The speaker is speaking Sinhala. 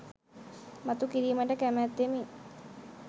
මතු කිරීමට කැමැත්තෙමි.